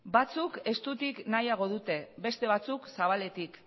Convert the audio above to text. batzuk estutik nahiago dute beste batzuk zabaletik